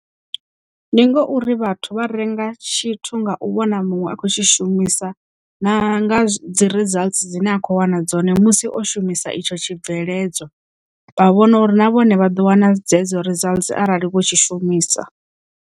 Ndi ngauri vhathu vha renga tshithu nga u vhona muṅwe a khou tshi shumisa na nga dzi results dzine a kho wana dzone musi o shumisa itsho tshibveledzwa vha vhona uri na vhone vha ḓo wana dzedzo results arali vho tshi shumisa.